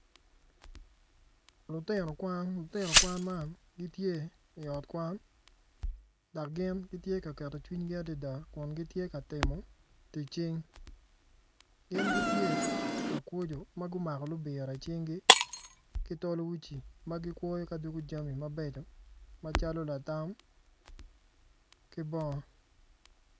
Lutino kwan man gitye i ot kwan dok gin gitye ka keto cwinygi adada i tic cing gin gitye ka kwocjo kun gumako libira i cingi ki tol uci ma gikwoyo ci doko jami mabeco macalo latam ki bongo